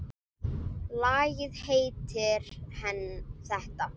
Lagið heitir þetta.